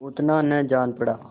उतना न जान पड़ा